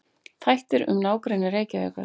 Þættir um nágrenni Reykjavíkur.